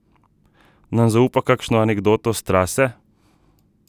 Nam zaupa kakšno anekdoto s trase?